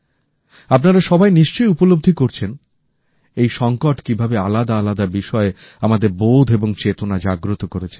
আপনারা সবাই নিশ্চয়ই উপলব্ধি করেছেন এই সংকট কিভাবে আলাদা আলাদা বিষয়ে আমাদের বোধ এবং চেতনা জাগ্রত করেছে